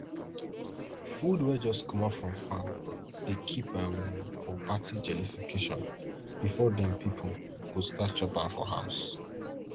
food wey jus comot from farm dey kip um for party jollification before dem pipo go start chop am for house